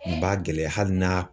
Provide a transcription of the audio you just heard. N b'a gɛlɛya hali n'a